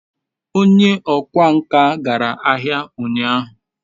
onye okwá nkà gara ahia unyahu